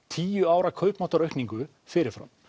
tíu ára kaupmáttaraukningu fyrir fram